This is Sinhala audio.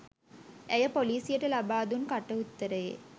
ඇය පොලිසියට ලබා දුන් කට උත්තරයේ